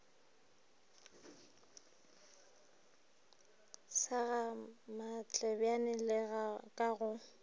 sa gamatlebjane le ka go